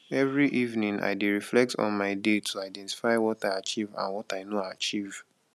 every evening i dey reflect on my day to identify what i achieve and what i no achieve